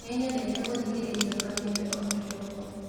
Nĩnyendete gũthikĩrĩria kameme o kĩroko